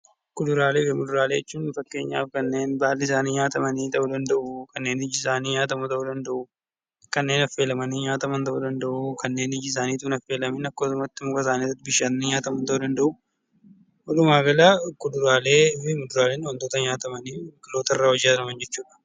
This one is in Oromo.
Kuduraalee fi fuduraalee jechuun fakkeenyaaf kanneen baalli isaanii nyaataman ta'uu danda'u kanneen iji isaanii nyaatamu ta'uu danda'u kanneen affeelamanii nyaataman ta'uu danda'u kanneen iji isaanii osoo hin affeelamiin nyaataman ta'uu danda'u. Walumaa gala kuduraalee fi fuduraaleen wantoota nyaataman biqilootarraa argamaniidha.